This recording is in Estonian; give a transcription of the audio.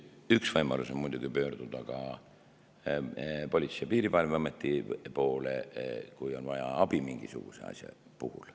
Üks võimalus on muidugi pöörduda ka Politsei‑ ja Piirivalveameti poole, kui on vaja abi mingisuguse asja puhul.